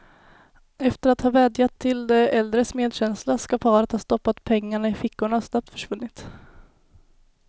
Efter att ha vädjat till de äldres medkänsla skall paret ha stoppat pengarna i fickorna och snabbt försvunnit.